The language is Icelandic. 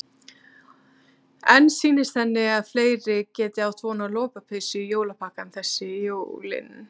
En sýnist henni að fleiri geti átt von á lopapeysu í jólapakkann þessi jólin?